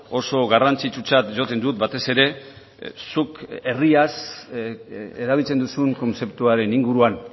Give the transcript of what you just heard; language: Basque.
oso garrantzitsutzat jotzen dut batez ere zuk herriaz erabiltzen duzun kontzeptuaren inguruan